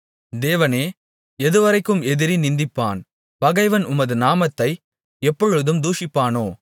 தேவனே எதுவரைக்கும் எதிரி நிந்திப்பான் பகைவன் உமது நாமத்தை எப்பொழுதும் தூஷிப்பானோ